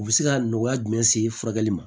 U bɛ se ka nɔgɔya jumɛn se furakɛli ma